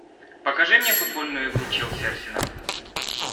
покажи мне футбольную игру челси арсенал